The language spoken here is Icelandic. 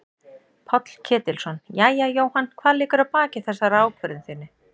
Páll Ketilsson: Jæja Jóhann hvað liggur að baki þessari ákvörðun þinni?